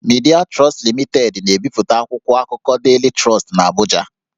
Midịa Trọstụ Limitedị na-ebipụta akwụkwọ akụkọ Daily Trust n'Abụja